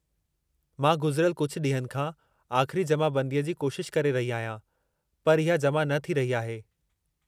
मां गुज़िरियल कुझु ॾींहनि खां आख़िरी जमाबंदीअ जी कोशिश करे रही आहियां, पर इहा जमा न थी रही आहे।